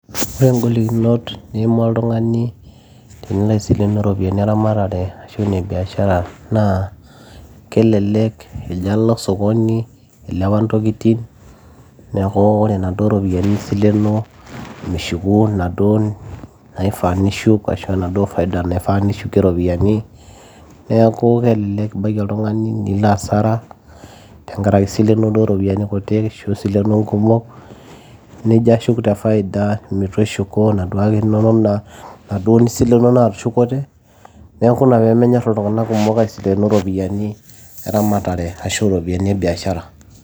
ore ingolikinot niima oltung'ani tenilo aisilenu iropiyiani eramatare ashu ine biashara naa kelelek ejo alo sokoni ilepa ntokitin neeku ore inaduo ropiyiani nisilenoo mishuku naduo naifaa nishuk ashu enaduo faida naifaa nishukie iropiyiani neeku kelelek ibaiki oltung'ani nilo asara tenkarake isilenuo duo iropiyiani kutik ashu isilenuo nkumok nijo ashuk te faida etu ishuku naduo inonok, naduo nisilenuo naatushukote neeku ina peemennyorr iltung'anak kumok aisilenu iropiyiani eramatare ashu iropiyiani ebiashara.